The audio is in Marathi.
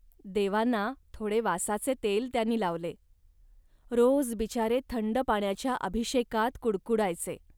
देवांना थोडे वासाचे तेल त्यांनी लावले. रोज बिचारे थंड पाण्याच्या अभिषेकात कुडकुडायचे